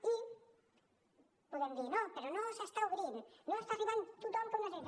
i podem dir sí però no s’està obrint no està arribant a tothom que ho necessita